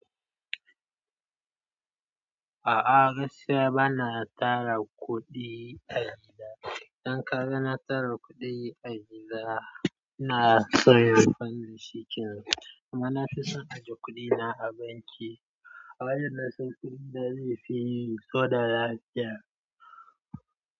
A'a gaskiya bana tara kuɗi a gida. Idan ka ga na tara kuɗi a gida ina so inyi amfani dashi kenan. Amma na fi son ajiye kuɗina a banki a wayar na san kuɗina zai fi yiyi saboda lafiya.